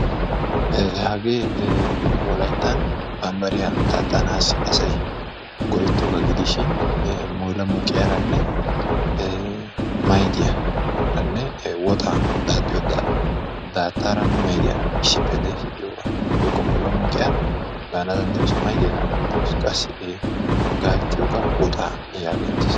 La hagee wolayttan bambbariyaa daaxxanassi go"ettiyoogaa gidishin mulumuqqiyaaranne maydiyaaranne woxaa daaxxiyoo daattaa daaxxiyoo maydiyaara issippe de'ees giyoogaa. woykko mulamuqqiyaa gaana danddayoos, qassi gaaccciyoogan woxaa gaana danddayettees.